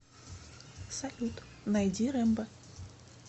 салют найди рембо